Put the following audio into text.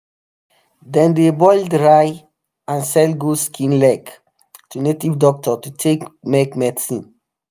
dem dey boil dry and sell goat skin leg um to native doctor to take make medicine